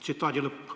" Tsitaadi lõpp.